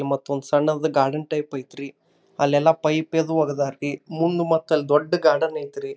ಮತ್ತ ಒಂದು ಸಣ್ಣ ಒಂದು ಗಾರ್ಡನ್ ಟೈಪ್ ಐತ್ರಿ ಅಲ್ಲೆಲ್ಲೋ ಪೈಪ್ ಅದು ವಾಗ್ದಾರ್ರಿ ಮುಂದ ಮತ್ತ ಅಲ್ಲಿ ದೊಡ್ಡ್ ಗಾರ್ಡನ್ ಐತ್ರಿ.